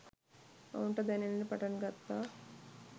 ඔවුන්ට දැනෙන්න පටන් ගත්තා